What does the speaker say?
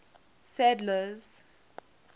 sadler's